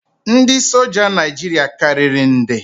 Ndị soja Naijiria karịrị nde